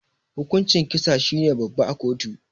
Hukuncin kisa shine babba a kotu.